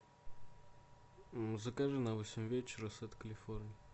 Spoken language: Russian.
закажи на восемь вечера сет калифорния